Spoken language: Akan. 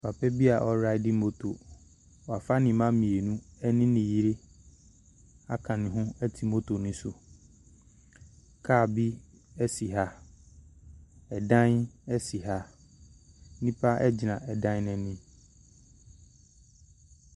Papabi a ɔraidi moto, W'afa niba mmienu ene n'yere aka ne ho ɛte moto no so. Kaa bi esi ha, ɛdan esi ha, nnipa egyina adan anim.